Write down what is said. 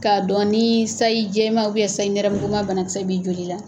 K'a dɔn ni sayi jɛma sayi nɛrɛmukuma bana kisɛ b'i joli la.